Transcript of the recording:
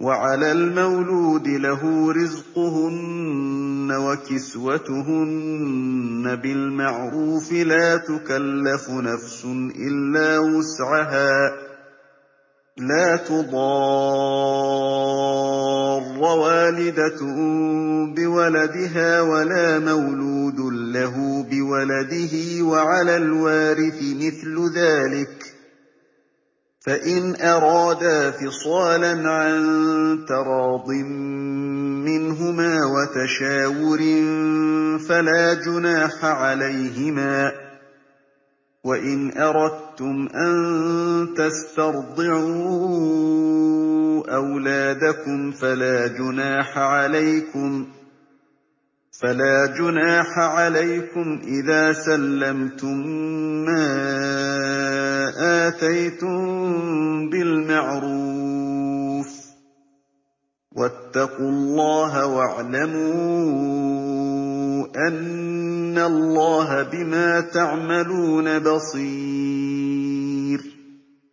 وَعَلَى الْمَوْلُودِ لَهُ رِزْقُهُنَّ وَكِسْوَتُهُنَّ بِالْمَعْرُوفِ ۚ لَا تُكَلَّفُ نَفْسٌ إِلَّا وُسْعَهَا ۚ لَا تُضَارَّ وَالِدَةٌ بِوَلَدِهَا وَلَا مَوْلُودٌ لَّهُ بِوَلَدِهِ ۚ وَعَلَى الْوَارِثِ مِثْلُ ذَٰلِكَ ۗ فَإِنْ أَرَادَا فِصَالًا عَن تَرَاضٍ مِّنْهُمَا وَتَشَاوُرٍ فَلَا جُنَاحَ عَلَيْهِمَا ۗ وَإِنْ أَرَدتُّمْ أَن تَسْتَرْضِعُوا أَوْلَادَكُمْ فَلَا جُنَاحَ عَلَيْكُمْ إِذَا سَلَّمْتُم مَّا آتَيْتُم بِالْمَعْرُوفِ ۗ وَاتَّقُوا اللَّهَ وَاعْلَمُوا أَنَّ اللَّهَ بِمَا تَعْمَلُونَ بَصِيرٌ